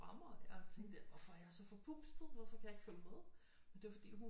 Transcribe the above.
Fra mig jeg tænkte hvorfor er jeg så forpustet hvorfor kan jeg ikke følge med men det var fordi hun